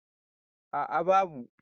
a a babu